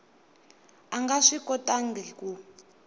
a nga swi kotangi ku